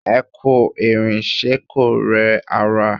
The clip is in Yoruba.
Ẹ kú ìrìn, ṣe kò rẹ ara?